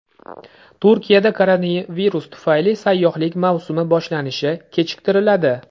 Turkiyada koronavirus tufayli sayyohlik mavsumi boshlanishi kechiktiriladi.